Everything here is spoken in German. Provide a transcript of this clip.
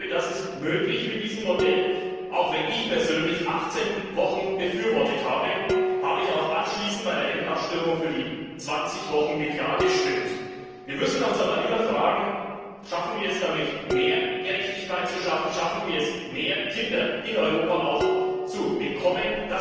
Ich glaube, das ist mit diesem Modell möglich. Auch wenn ich persönlich 18 Wochen befürworte, habe ich anschließend bei der Endabstimmung für die 20 Wochen mit Ja gestimmt. Wir müssen uns aber immer fragen Schaffen wir es damit, mehr Gerechtigkeit zu schaffen, schaffen wir es, mehr Kinder in Europa zu bekommen?